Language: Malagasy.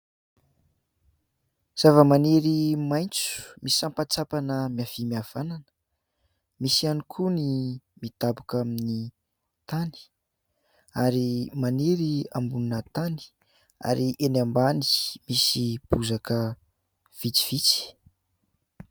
Zava-maniry maitso misampatsampana miavia miavanana. Misy ihany koa ny midaboka amin'ny tany ary maniry ambonina tany; ary eny ambany, misy bozaka vitsivitsy.